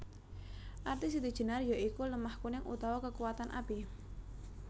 Arti Siti Jénar ya iku lemah kuning utawa kekuwatan api